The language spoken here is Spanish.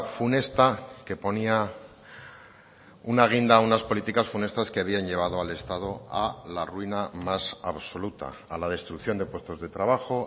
funesta que ponía una guinda a unas políticas funestas que habían llevado al estado a la ruina más absoluta a la destrucción de puestos de trabajo